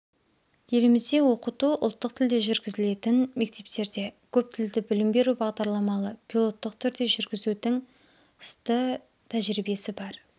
елімізде оқыту ұлттық тілде жүргізілетін мектептерде көптілді білім беру бағдарламалы пилоттық түрде жүргізудің сты тәжірибесі бар